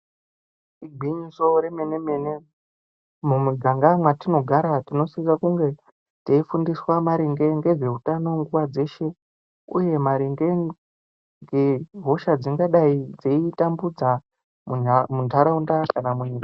Igwinyiso remene mene mumuganga mwatinogara tinosisa kunge taifundiswa ngezveutano nguva dzeshe uye maringe ngehosha dzingangodai dzaiitambudza mendaraunda kana munyika.